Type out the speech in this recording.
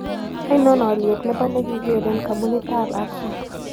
Ainon alyet ne po nekig'eeren kampunitap axle